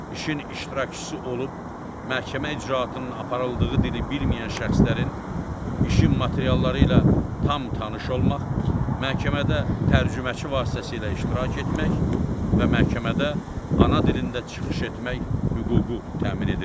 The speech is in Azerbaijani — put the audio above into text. İşin iştirakçısı olub, məhkəmə icraatının aparıldığı dili bilməyən şəxslərin işin materialları ilə tam tanış olmaq, məhkəmədə tərcüməçi vasitəsilə iştirak etmək və məhkəmədə ana dilində çıxış etmək hüququ təmin edilir.